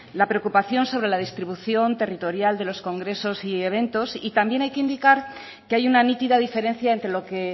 la preocupación sobre la distribución territorial de los congresos y eventos y también hay que indicar que hay una nítida diferencia entre lo que